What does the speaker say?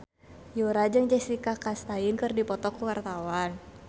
Yura jeung Jessica Chastain keur dipoto ku wartawan